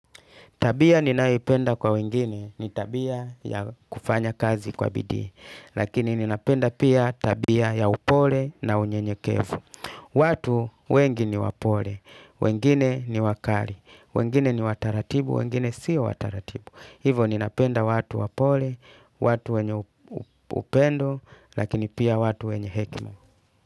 Tabia ninayoipenda kwa wengine ni tabia ya kufanya kazi kwa bidii. Lakini ninapenda pia tabia ya upole na unyenyekevu. Watu wengi ni wapole, wengine ni wakali, wengine ni wa taratibu, wengine si wa taratibu. Hivyo ninapenda watu wapole, watu wenye upendo, lakini pia watu wenye hekima.